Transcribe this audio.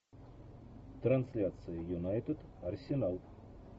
трансляция юнайтед арсенал